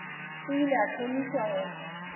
o ile a thomiša go